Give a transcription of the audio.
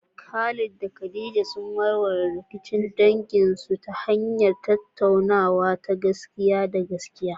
Khalid da Khadija sun warware rikicin danginsu ta hanyar tattaunawa ta gaskiya da gaskiya.